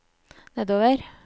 nedover